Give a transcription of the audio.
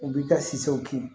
U b'i ka siw kin